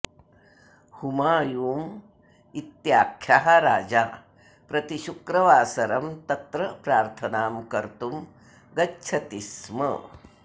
हुमायूम् इत्याख्यः राजा प्रतिशुक्रवासरं तत्र प्रार्थनां कर्तुं गच्छति स्म